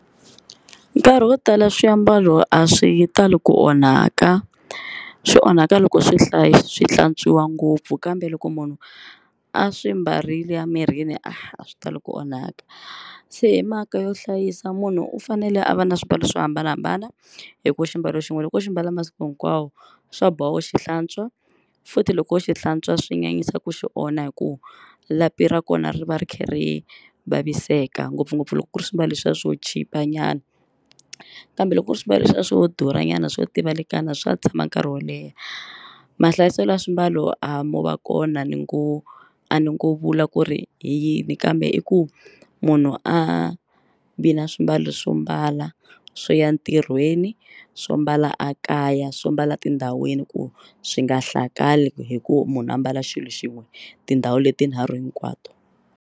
Nkarhi wo tala swiambalo a swi tali ku onhaka swi onhaka loko swi hlayi swi hlantswiwa ngopfu kambe loko munhu a swi mbarile a mirini a swi tali ku onhaka se hi mhaka yo hlayisa munhu u fanele a va na swimbalo swo hambanahambana hikuva xiambalo xin'we loko u xi mbala masiku hinkwawo swa boha u xihlantswa, futhi loko u xi hlantswa swi nyanyisa ku xi onha hi ku lapi ra kona ri va ri kha ri vaviseka ngopfungopfu loko ku ri swimbalo leswiya swo chipa nyana, kambe loko ku ri swimbalo leswiya swo durhanyana swo tivalekana swa tshama nkarhi wo leha, mahlayiselo ya swimbalo a mo va kona ni ngo a ni ngo vula ku ri hi yini kambe i ku munhu a vi na swimbalo swo mbala swo ya ntirhweni, swo mbala a kaya, swo mbala tindhawini ku swi nga hlakali hi ku munhu ambala xilo xin'we tindhawu leti tinharhu hinkwato.